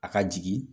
A ka jigin